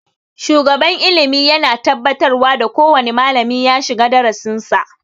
Shugaban ilimi yana tabbatarwa da kowane malami ya shiga darasin sa